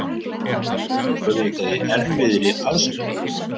Við erum auðvitað í erfiðri aðstöðu.